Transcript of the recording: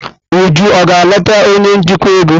Uju ọ gara leta onye njikwa ego?